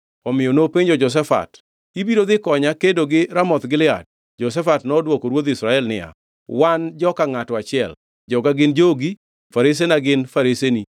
Omiyo nopenjo Jehoshafat, “Ibiro dhi konya kedo gi jo-Ramoth Gilead?” Jehoshafat nodwoko ruodh Israel niya, “Wan joka ngʼato achiel, joga gin jogi, faresena gin fareseni.”